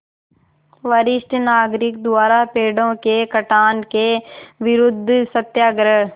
वरिष्ठ नागरिक द्वारा पेड़ों के कटान के विरूद्ध सत्याग्रह